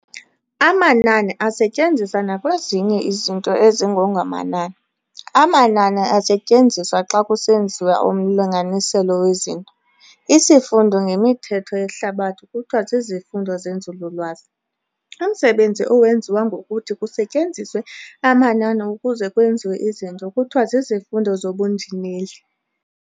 amanani asetyenziswa nakwezinye izinto ezingengomanani. amanani asetyenziswa xa kusenziwa umlinganiselo wezinto. Isifundo ngemithetho yehlabathi kuthiwa zizifundo zenzululwazi. umsebenzi owenziwa ngokuthi kusetyenziswe amanani ukuze kwenziwe izinto kuthiwa zizifundo zobunjineli.